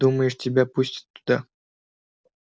думаешь тебя пустят туда